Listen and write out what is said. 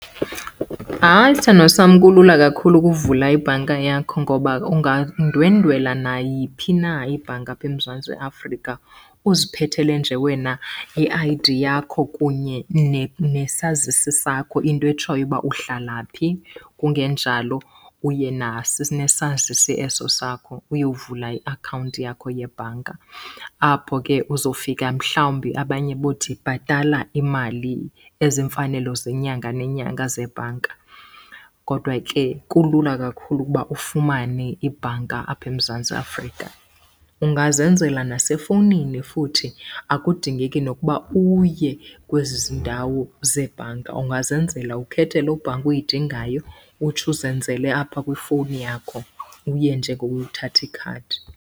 Hayi sthandwa sam, kulula kakhulu ukuvula ibhanka yakho. Ngoba ungandwendwela nayiphi na ibhanka apha eMzantsi Afrika uziphethele nje wena i-I_D yakho kunye nesazisi sakho, into etshoyo uba uhlala phi, kungenjalo uye nesazisi eso sakho uyovula iakhawunti yakho yebhanka. Apho ke uzofika mhlawumbi abanye bothi bhatala imali ezimfanelo zenyanga nenyanga zebhanka. Kodwa ke kulula kakhulu ukuba ufumane ibhanka apha eMzantsi Afrika. Ungazenzela nasefowunini futhi akudingeki nokuba uye kwezi ndawo zebhanka. Ungazenzela ukhethe loo bhanki uyidingayo utsho uzenzele apha kwifowuni yakho, uye nje ngokuyothatha ikhadi.